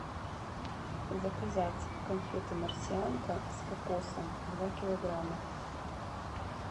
заказать конфеты марсианка с кокосом два килограмма